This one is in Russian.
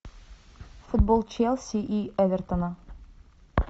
футбол челси и эвертона